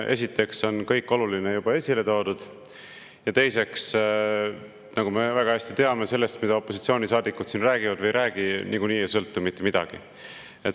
Esiteks on kõik oluline juba esile toodud ja teiseks, nagu me väga hästi teame: sellest, mida opositsioonisaadikud siin räägivad või ei räägi, niikuinii ei sõltu mitte midagi.